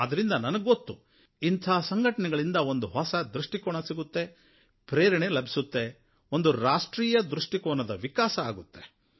ಆದ್ದರಿಂದ ನನಗೆ ಗೊತ್ತು ಇಂಥ ಸಂಘಟನೆಗಳಿಂದ ಒಂದು ಹೊಸ ದೃಷ್ಟಿಕೋನ ಸಿಗುತ್ತೆ ಪ್ರೇರಣೆ ಲಭಿಸುತ್ತೆ ಒಂದು ರಾಷ್ಟ್ರೀಯ ದೃಷ್ಟಿಕೋನದ ವಿಕಾಸ ಆಗುತ್ತೆ